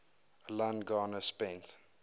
alan garner spent